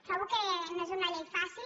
trobo que no és una llei fàcil